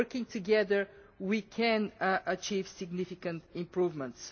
Working together we can achieve significant improvements.